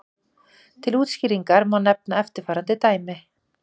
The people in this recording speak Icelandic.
Til útskýringar má nefna eftirfarandi dæmi.